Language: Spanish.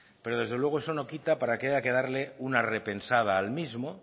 pero desde luego eso no quita para que haya que darle una repensada al mismo